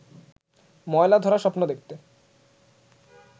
ময়লা-ধরা স্বপ্ন দেখতে